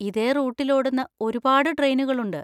ഇതേ റൂട്ടിൽ ഓടുന്ന ഒരുപാട് ട്രെയിനുകളുണ്ട്.